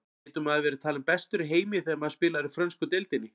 Getur maður verið talinn bestur í heimi þegar maður spilar í frönsku deildinni?